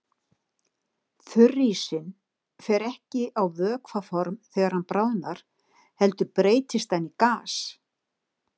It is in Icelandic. Þurrísinn fer ekki á vökvaform þegar hann bráðnar heldur breytist hann í gas.